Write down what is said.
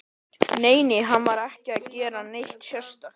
Nei, nei, hann var ekki að gera neitt sérstakt.